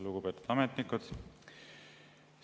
Lugupeetud ametnikud!